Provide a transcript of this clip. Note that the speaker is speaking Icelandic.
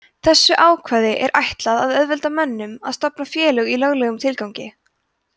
þessu ákvæði er ætlað að auðvelda mönnum að stofna félög í löglegum tilgangi